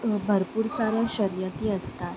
अ भरपुर साऱ्या शर्यती असतात.